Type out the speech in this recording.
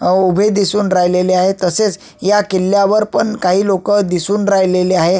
उभे दिसून राहिलेले आहे तसेच या किल्ल्यावर पण काही लोकं दिसून राहिलेले आहे.